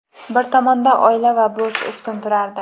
bir tomonda oila va burch ustun turardi.